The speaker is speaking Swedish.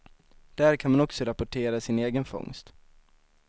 Där kan man också rapportera sin egen fångst.